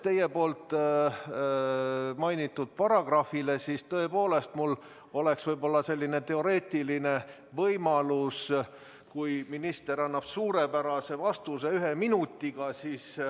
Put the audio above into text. Teie mainitud paragrahvi järgi oleks mul tõepoolest teoreetiline võimalus, kui minister annab suurepärase vastuse ühe minutiga.